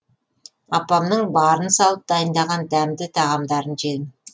апамның барын салып дайындаған дәмді тағамдарын жедім